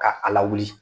Ka ala wili